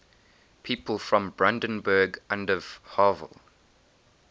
people from brandenburg an der havel